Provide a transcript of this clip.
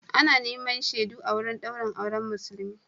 Ana neman shaidu a wurin daurin auren Musulmi.